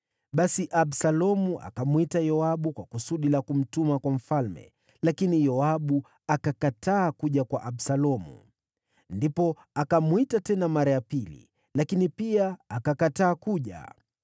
Basi Absalomu akamwita Yoabu kwa kusudi la kumtuma kwa mfalme, lakini Yoabu akakataa kuja kwa Absalomu. Ndipo akamwita tena mara ya pili, lakini pia akakataa kuja.